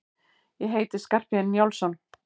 Ég heiti Skarphéðinn Njálsson!